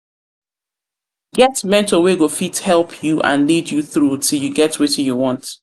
mentor wey go fit help you and lead you through till you get wetin you want